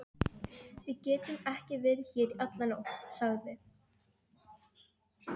Við getum ekki verið hér í alla nótt, sagði